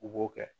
U b'o kɛ